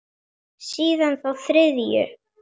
Síðan þá þriðju.